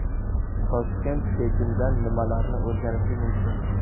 Toshkent Pekindan nimalarni o‘rganishi mumkin?.